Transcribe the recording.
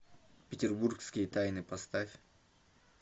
петербургские тайны поставь